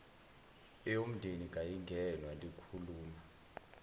eyomndeni kayingenwa likhuluma